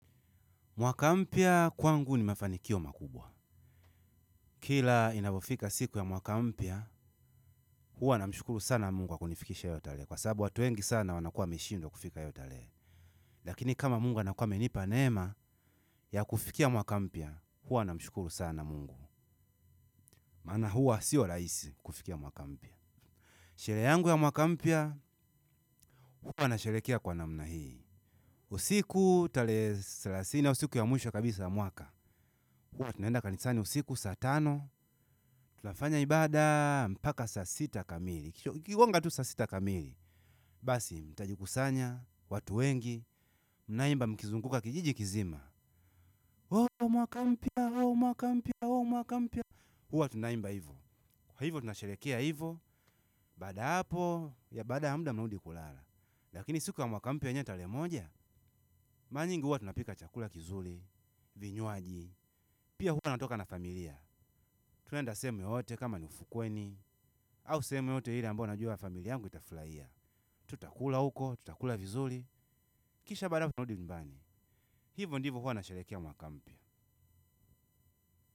Mwaka mpya kwangu ni mafanikio makubwa. Kila inavofika siku ya mwaka mpya, huwa namshukuru sana Mungu kwa kunifikisha hiyo tarehe kwa sababu watu wengi sana wanakua wameshindwa kufika hiyo tarehe lakini kama Mungu anakuwa amenipa neema ya kufikia mwaka mpya, huwa na mshukuru sana Mungu. Maana huwa siyo rahisi kufikia mwaka mpya. Sherehe yangu ya mwaka mpya, huwa na sherekea kwa namna hii. Usiku tarehe thelathini au siku ya mwisho kabisa ya mwaka. Hua tunaenda kanisani usiku saatano, tunafanya ibada, mpaka saasita kamili. Ikigonga tu saasita kamili. Basi, mtajikusanya, watu wengi, mnaimba mkizunguka kijiji kizima. Oho, mwakampya, oho, mwakampya, oho, mwakampya. Huwa tunaimba hivo kwa hivo tunasherekea hivo, baada hapo, ya baada yamuda mnarudi kulala. Lakini siku ya mwakampya yenyewe tarehe moja, mara nyingi hua tunapika chakula kizuri, vinywaji. Pia hua natoka na familia. Tunaenda sehemu yoyote kama niufukweni au sehemu yoyote ile ambayo najua familia yangu itafurahia. Tutakula huko, tutakula vizuri kisha baada ya hapo tunarudi nyumbani hivyo ndivo huwa nasherekea mwakampya.